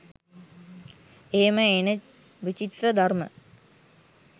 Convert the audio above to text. එහෙම එන විචිත්‍ර ධර්ම